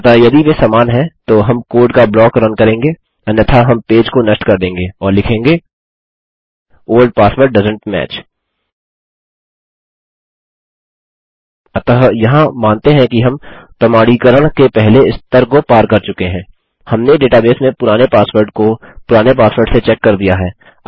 अतः यदि वे समान हैं तो हम कोड का ब्लॉक रन करेंगे अन्यथा हम पेज को नष्ट कर देंगे और लिखेंगे ओल्ड पासवर्ड डोएसेंट match अतः यहाँ मानते हैं कि हम प्रमाणीकरण के पहले स्तर को पार कर चुके हैं हमने डेटाबेस में पुराने पासवर्ड को पुराने पासवर्ड से चेक कर दिया है